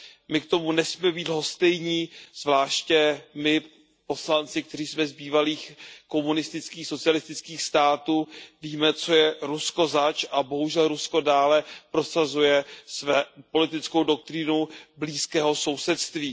My k tomu nesmíme být lhostejní, zvláště my poslanci, kteří jsme z bývalých komunistických, socialistických států, víme, co je Rusko zač a bohužel Rusko dále prosazuje politickou doktrínu blízkého sousedství.